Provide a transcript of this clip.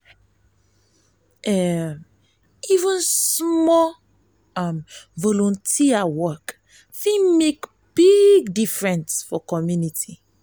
even small um volunteer work fit make big difference for community.